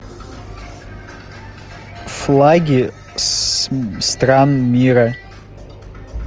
флаги стран мира